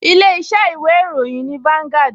Ilé-iṣẹ́ ìwé ìròyìn ni Vanguard